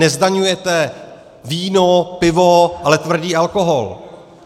Nezdaňujete víno, pivo, ale tvrdý alkohol.